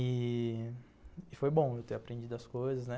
E foi bom eu ter aprendido as coisas, né?